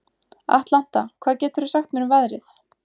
Atlanta, hvað geturðu sagt mér um veðrið?